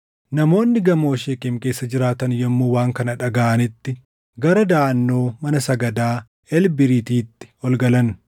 Namoonni gamoo Sheekem keessa jiraatan yommuu waan kana dhagaʼanitti gara daʼannoo mana sagadaa Elbiriititti ol galan.